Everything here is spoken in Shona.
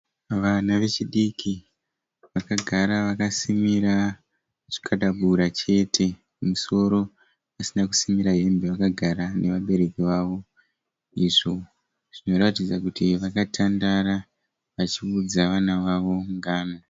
Vana vechidiki vakagara vakasimira zvikabudura chete. Kumusoro kusina kusimira hembe. Vakagara nevabereki wavo izvo zvinoratidza kuti vakatandara vachiudza vana vavo ngano.